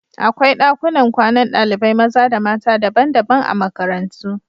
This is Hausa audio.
Akwai ɗakunan kwanan ɗalibai maza da mata daban-daban a makarantu.